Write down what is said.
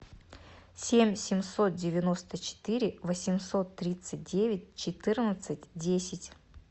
семь семьсот девяносто четыре восемьсот тридцать девять четырнадцать десять